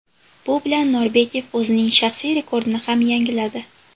Bu bilan Norbekov o‘zining shaxsiy rekordini ham yangiladi.